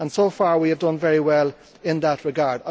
So far we have done very well in that regard.